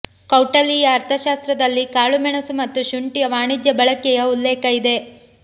ಕೌಟಲೀಯ ಅರ್ಥಶಾಸ್ತ್ರದಲ್ಲಿ ಕಾಳು ಮೆಣಸು ಮತ್ತು ಶುಂಠಿಯ ವಾಣಿಜ್ಯ ಬಳಕೆಯ ಉಲ್ಲೇಖ ಇದೆ